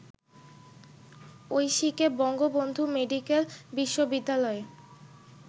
ঐশীকে Bangabandhu medical বিশ্ববিদ্যালয়ে